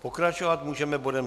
Pokračovat můžeme bodem